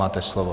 Máte slovo.